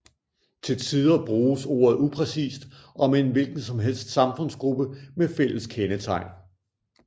Til tider bruges ordet upræcist om en hvilkensomhelst samfundsgruppe med fælles kendetegn